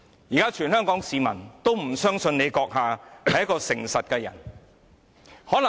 現在，全港市民都不相信她是誠實的人。